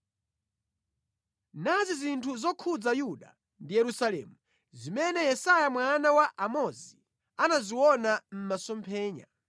Nazi zinthu zokhudza Yuda ndi Yerusalemu, zimene Yesaya mwana wa Amozi anaziona mʼmasomphenya: